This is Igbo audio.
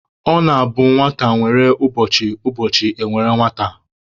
Ọ na-abụ nwata nwere ụbọchị, ụbọchị e nwere nwata.